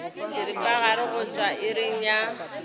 seripagare go tšwa iring ya